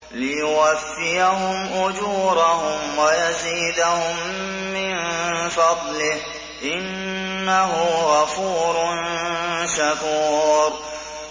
لِيُوَفِّيَهُمْ أُجُورَهُمْ وَيَزِيدَهُم مِّن فَضْلِهِ ۚ إِنَّهُ غَفُورٌ شَكُورٌ